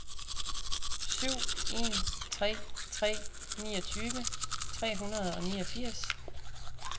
syv en tre tre niogtyve tre hundrede og niogfirs